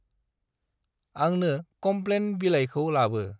आंंनो कमप्लेन बिलायखौ लाबो।